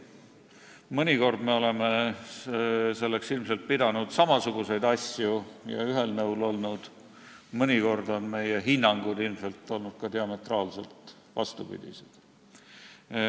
Mõnikord me oleme selle all silmas pidanud ilmselt samasuguseid asju ja olnud ühel nõul, mõnikord on meie hinnangud olnud ilmselt diametraalselt vastupidised.